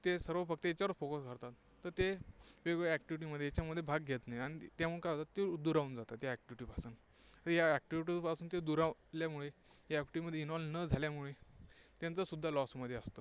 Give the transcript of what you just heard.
ते सर्व फक्त याच्यावर focus करतात तर ते वेगवेगळ्या activity मध्ये भाग घेत नाहीत. आणि त्यामुळे काय होतं ती दुरावून जातात, त्या activity पासून. या activity पासून ते दुरावल्यामुळे, त्या activity मध्ये involve न झाल्यामुळे त्यांचासुद्धा loss मध्ये असतात.